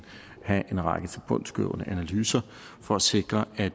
have en række tilbundsgående analyser for at sikre at